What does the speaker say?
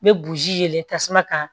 N bɛ buruji tasuma kan